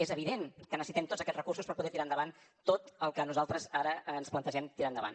és evident que necessitem tots aquests recursos per poder tirar endavant tot el que nosaltres ara ens plantegem tirar endavant